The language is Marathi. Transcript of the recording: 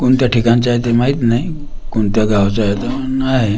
कोणत्या ठिकाणचे आहेत ते माहीत नाही कोणत्या गावचे अ आहे त नाय --